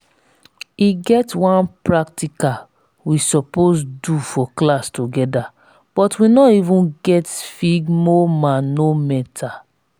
e get one practical we suppose do for class together but we no even get sphygmomanometer